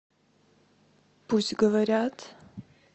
пусть говорят